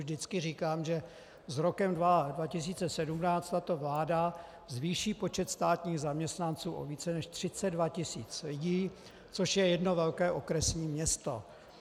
Vždycky říkám, že s rokem 2017 tato vláda zvýší počet státních zaměstnanců o více než 32 tis. lidí, což je jedno velké okresní město.